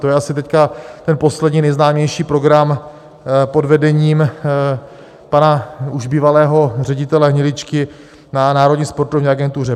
To je asi teď ten poslední nejznámější program pod vedením pana už bývalého ředitele Hniličky na Národní sportovní agentuře.